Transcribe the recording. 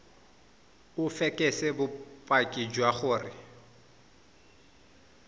o fekese bopaki jwa gore